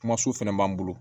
Kuma so fɛnɛ b'an bolo